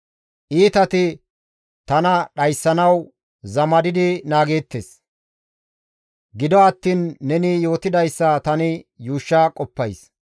Iitati tana dhayssanawu zamadidi naageettes; gido attiin neni yootidayssa tani yuushsha qoppays.